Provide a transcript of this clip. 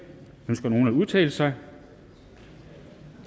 ønsker nogen at udtale sig